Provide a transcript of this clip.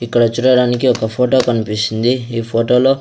ఇక్కడ చూడడానికి ఒక ఫోటో కన్పిస్సుంది ఈ ఫోటో లో --